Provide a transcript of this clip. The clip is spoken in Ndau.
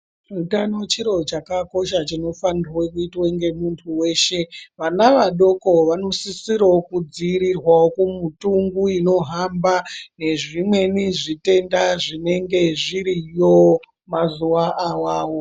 Utano chiro chakakosha chinofanirwe kuitwe ngemuntu weshe ,vana vadoko vanosisirawo kudziirirwawo kumithungu inohamba nezvimweni zvitenda zvinenge zviriyo mazuwa awawo.